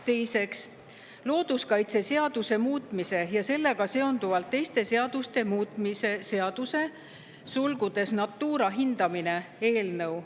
Teiseks, looduskaitseseaduse muutmise ja sellega seonduvalt teiste seaduste muutmise seaduse eelnõu.